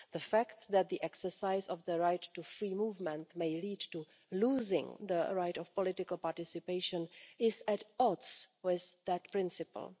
The fact that the exercise of the right to free movement may lead to losing the right of political participation is at odds with that principle.